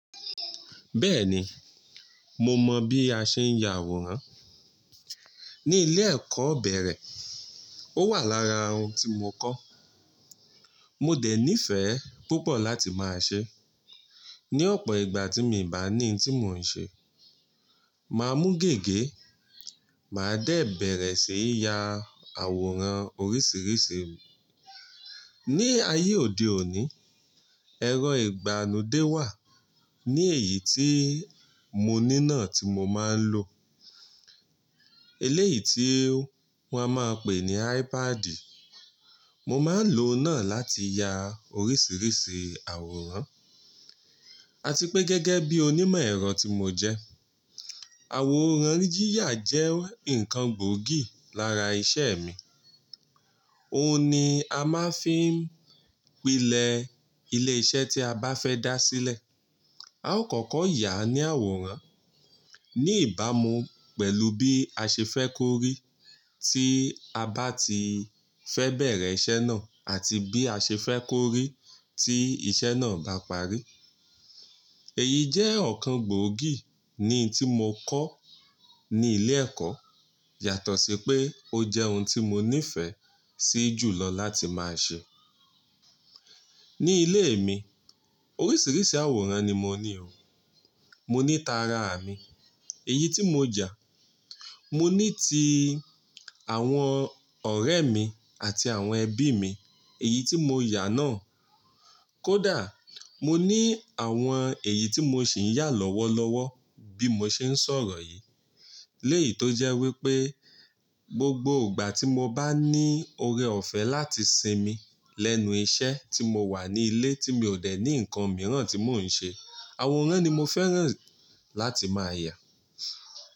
Bẹ́ẹ̀ni, mo mọ bí a ṣe ń ya àwòrán. Ni ilé ẹ̀kọ́ bẹ̀rẹ̀, ó wà lára ohùn tí mo kọ́. Mo dẹ̀ nífẹ̀ẹ́ púpọ̀ láti máa ṣe. Ni ọ̀pọ̀ ìgbà tí mi bá ní tí mò ń ṣe, màá mú gègé, màá dẹ̀ bẹ̀rẹ̀ síí ya àwòrán oríṣìíríṣìí. Ni ayé òde òní, ẹ̀rọ ìgbàlódé wà. Ni èyí tí mo ní náà tí mo máa ń lò. Eléyìí tí wọ́n á máa pè ní iPad. Mo máa ń lò náà láti ya oríṣìíríṣìí àwòrán. Àti pé gẹ́gẹ́ bí onímọ̀ ẹ̀rọ tí mo jẹ́, àwòrán yiyà jẹ́ nǹkan gbòógì lára iṣẹ́ mi. Óun ni a máa fí ń pilẹ̀ ilé iṣẹ́ tí a bá fẹ́ dá sílẹ̀. A ó kọ́kọ́ yà ní àwòrán. Ni ìbámu pẹ̀lú bí a ṣe fẹ́ kó rí tí a bá ti fẹ́ bẹ̀rẹ̀ iṣẹ́ náà àti bí a ṣe fẹ́ kó rí tí iṣẹ́ náà bá parí. Èyí jẹ́ ọ̀kan gbòógì ni tí mo kọ́ ní ilé ẹ̀kọ́ yàtọ̀ sí pé ó jẹ́ ohùn tí mo nífẹ̀ẹ́ sí jù lọ láti máa ṣe. Ni ilé mi, oríṣìíríṣìí àwòrán ni mo ní o. Mo ní tara à mi, èyí tí mo yà. Mo ní ti àwọn ọ̀rẹ́ mi àti àwọn ẹbí mi, èyí tí mo yà náà. Kódà, mo ní àwọn èyí tí mo ṣì ń yà lọ́wọ́lọ́wọ́ bí mo ṣe ń sọ̀rọ̀ yìí. Léyì tó jẹ́ wípé gbogbo ìgbà tí mo bá ní òòrè ọ̀fẹ́ láti sinmi lẹ́nu iṣẹ́ tí mo wà ní ilé tí mi ò dẹ̀ ní nǹkan mìíràn tí mò ń ṣe, àwòrán ni mo fẹ́ràn láti máa yà.